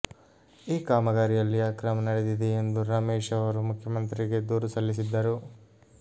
ಈ ಕಾಮಗಾರಿಯಲ್ಲಿ ಅಕ್ರಮ ನಡೆದಿದೆ ಎಂದು ರಮೇಶ್ ಅವರು ಮುಖ್ಯಮಂತ್ರಿಗೆ ದೂರು ಸಲ್ಲಿಸಿದ್ದರು